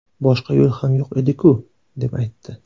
Boshqa yo‘l ham yo‘q ediku”, deb aytdi.